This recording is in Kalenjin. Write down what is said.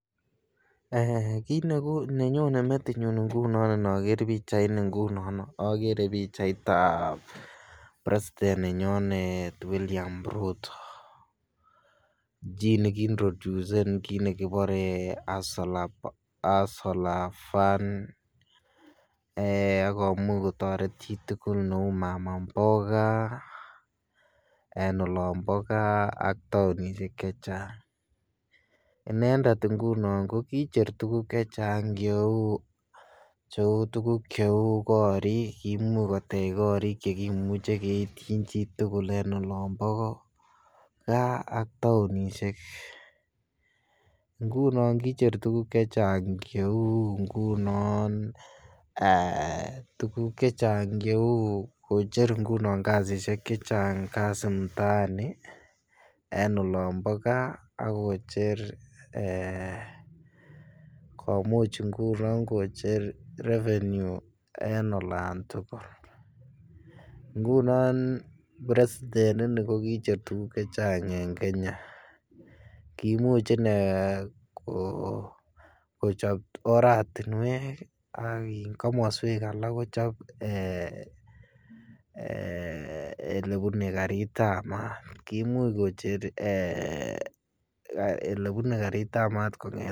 Kit eeh nenonye metinyun ngunon inoker pichaini ngunono ogere pichaitab presiten nenyonet William ruto jii ne kii introducen kii nekibore hustlur fund eeh ak komuch kotoret chi tugul ne uu mama mboga en olombo gaa ak tounishek chechang. Inendet ngunon ko kicher tuguk chechang che uu tuguk che uu korik kimuche kotech korik che kimuche keityin chitugul en olombo gaa ak tounishek, ngunon kicher tuguk chechang che uu ngunon eeh tuguk chechang che uu kocher ngunon kazishek chechang kazi mtaani en olombo gaa ak kocher eeh komuch ngunon kocher revenue en olan tugul. Ngunon presiten ini ko kicher tuguk chechang en Kenya kimuch ine ko kochob oratinwek ak komoswek alak kochob ee ole bune garitab maat, kimuch kocher ee ele bune garitab maat kong